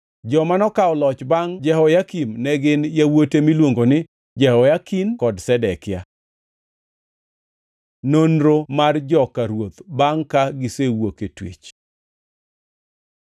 Joma nokawo loch bangʼ Jehoyakim ne gin yawuote miluongo ni: Jehoyakin kod Zedekia. Nonro mar joka ruoth bangʼ ka gisewuok e twech